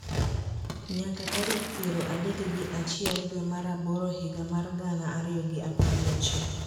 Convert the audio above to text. nyaka tarik piero adek gi achiel dwe mar aboro higa mar gana ariyo gi apar gochiko,